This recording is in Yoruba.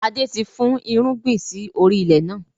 Adé ti fún irúgbìn sì orí ilẹ̀ náà.